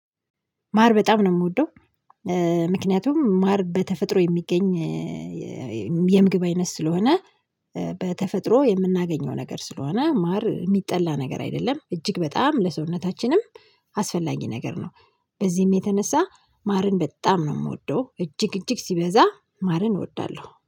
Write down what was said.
ማር በጣም ነው የምወደው። ምክንያቱም ማር በተፈጥሮ የሚገኝ የምግብ አይነት ስለሆነ። በተፈጥሮ የምናገኘው ነገር ስለሆነ ማር የሚጠላ ነገር አይደለም እጅግ በጣም ለሰውነታችንም አስፈላጊ ነገር ነው። በዚህም የተነሳ ማርን በጣም ነው የምወደው እጅግ እጅግ ሲበዛ ማርን እወዳለሁ